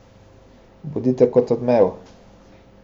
Bodite kot odmev.